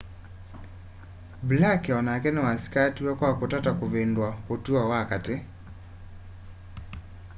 blake onake nĩwasĩkatiwe kwa kũtata kũvĩndũa ũtũo wa katĩ